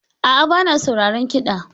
A'a, ba na sauraron kiɗa.